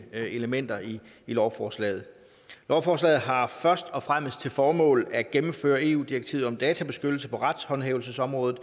elementer i lovforslaget lovforslaget har først og fremmest til formål at gennemføre eu direktivet om databeskyttelse på retshåndhævelsesområdet